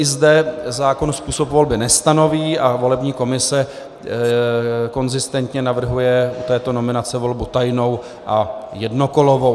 I zde zákon způsob volby nestanoví a volební komise konzistentně navrhuje u této nominace volbu tajnou a jednokolovou.